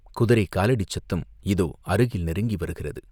குதிரைக்காலடிச் சத்தம் இதோ அருகில் நெருங்கி வருகிறது.